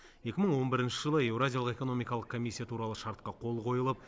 екі мың он бірінші жылы еуразиялық экономикалық комиссия туралы шартқа қол қойылып